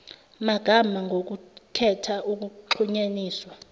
magama ngokukhetha ukuxhunyaniswa